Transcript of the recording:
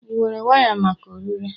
ị nwere waya maka ọrịre?